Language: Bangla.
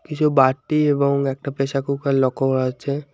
কিছু বাটি এবং একটা প্রেসার কুকার লক্ষ্য করা যাচ্ছে।